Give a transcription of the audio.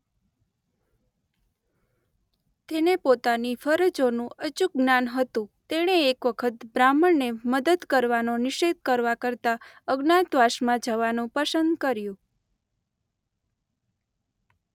તેને પોતાની ફરજોનું અચૂક જ્ઞાન હતું તેણે એક વખત બ્રાહ્મણને મદદ કરવાનો નિષેધ કરવા કરતાં અજ્ઞાતવાસમાં જવાનું પસંદ કર્યું.